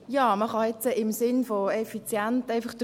Ja, man kann jetzt einfach im Sinn der Effizienz durchgehen.